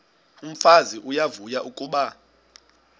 umfazi uyavuya kuba